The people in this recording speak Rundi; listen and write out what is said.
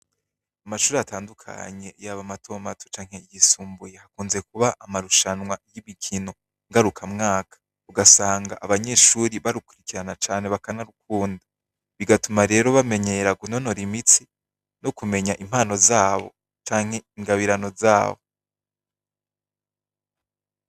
Amashuri atandukanye y'aba matomato canke igisumbuye hakunze kuba amarushanwa y'imikino ngaruka mwaka ugasanga abanyeshuri barukurikirana cane bakanarukunda bigatuma rero bamenyera gunonora imitsi no kumenya impano zabo canke ingabirano zabo wa.